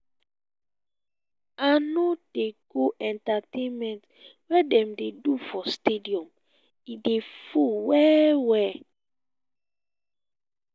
i no dey go entertainment wey dem dey do for stadium e dey full well-well.